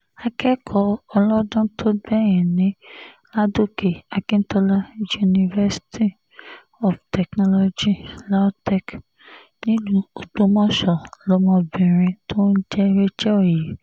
akẹ́kọ̀ọ́ ọlọ́dún tó gbẹ̀yìn ní ládòkè akintola universy of technology lautech nílùú ògbómọṣọ lọmọbìnrin tó ń jẹ́ rachael yìí